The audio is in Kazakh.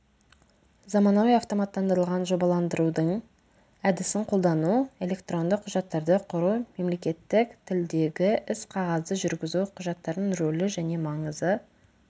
заманауи автоматтандырылған жобаландырудың әдісін қолдану электронды құжаттарды құру мемлекеттік тілдегі іс-қағазды жүргізу құжаттардың рөлі және маңызы